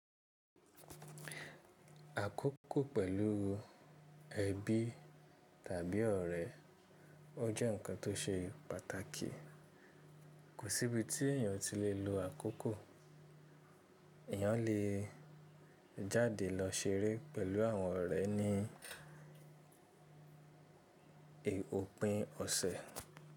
Àkókò pẹ̀lú ẹbí tàbí ọ̀rẹ́ ọ jẹ́ nǹkan tó ṣe pàtàkì. Kò sí ibi tí èeyàn ti lè lo àkókò, èeyàn lè jáde lọ ṣeré pẹ̀lú àwọn ọ̀rẹ́ ní òpin ọ̀sẹ̀.